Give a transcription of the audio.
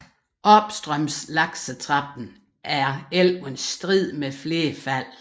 Opstrøms laksetrappen er elven strid med flere fald